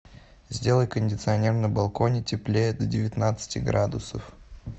сделай кондиционер на балконе теплее до девятнадцати градусов